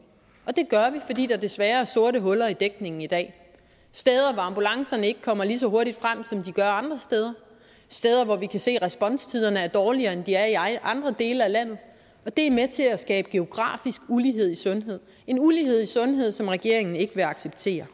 og det gør vi fordi der desværre er sorte huller i dækningen i dag steder hvor ambulancerne ikke kommer lige så hurtigt frem som de gør andre steder steder hvor vi kan se at responstiderne er dårligere end de er i andre dele af landet og det er med til at skabe geografisk ulighed i sundhed en ulighed i sundhed som regeringen ikke vil acceptere